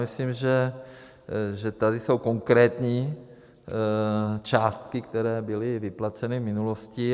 Myslím, že tady jsou konkrétní částky, které byly vyplaceny v minulosti.